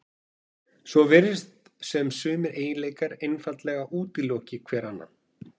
Svo virðist sem sumir eiginleikar einfaldlega útiloki hver annan.